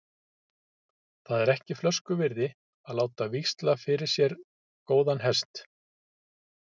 Það er ekki flösku virði að láta víxla fyrir sér góðan hest.